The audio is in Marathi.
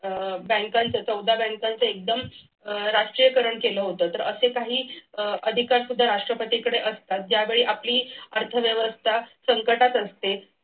अह बँकांच्या चौदा बँकांच एकदम राष्ट्रीयीकरण केलं होतं तर असे काही अह अधिकार सुद्धा राष्ट्रपतींकडे असतात ज्यावेळी आपली अर्थव्यवस्था संकटात असते.